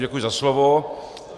Děkuji za slovo.